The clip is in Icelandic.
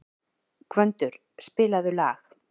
Gvöndur, spilaðu lag.